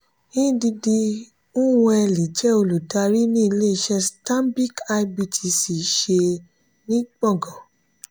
ndidi nwuneli jẹ olùdarí ní ilé iṣé stanbic ibtc ṣe ní gbọ̀ngan.